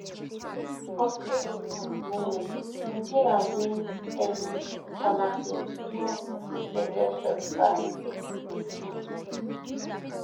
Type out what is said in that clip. forty eight um minutes nigeria win early cornerkick through deflected shot by kiki